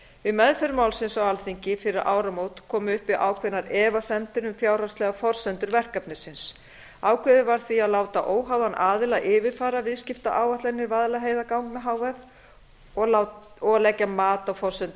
við meðferð málsins á alþingi fyrir áramót komu upp ákveðnar efasemdir um fjárhagslegar forsendur verkefnisins ákveðið var því að láta óháðan aðila yfirfara viðskiptaáætlanir vaðlaheiðarganga h f og leggja mat á forsendur